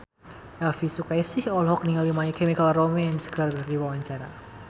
Elvi Sukaesih olohok ningali My Chemical Romance keur diwawancara